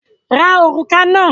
Ra òrùka náà!